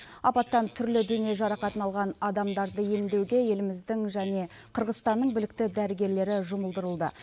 апаттан түрлі дене жарақатын алған адамдарды емдеуге еліміздің және қырғызстанның білікті дәрігерлері жұмылдырылды